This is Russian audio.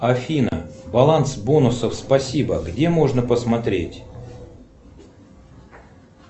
афина баланс бонусов спасибо где можно посмотреть